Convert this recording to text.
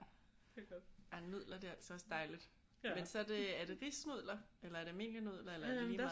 Nudler det er altså også dejligt men så er det er det risnudler eller er det almindelige nudler eller er det lige meget